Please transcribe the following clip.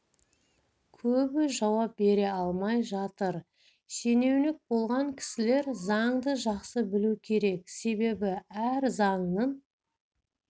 көбі жауап бере алмай жатыр шенеунік болған кісілер заңды жақсы білу керек себебі әр заңның